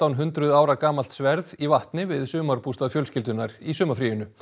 hundruð ára gamalt sverð í vatni við sumarbústað fjölskyldunnar í sumarfríinu